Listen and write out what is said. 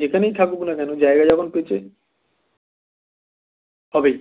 যেখানেই থাকুক না কেন জায়গা যখন পেয়েছে হবেই